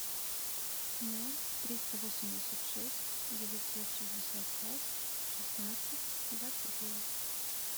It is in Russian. ноль триста восемьдесят шесть девятьсот шестьдесят пять шестнадцать двадцать девять